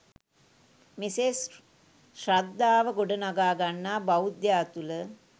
මෙසේ ශ්‍රද්ධාව ගොඩනඟා ගන්නා බෞද්ධයා තුළ